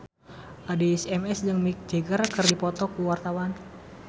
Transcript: Addie MS jeung Mick Jagger keur dipoto ku wartawan